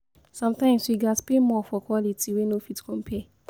Sometimes, we gats pay more for quality wey no fit compare.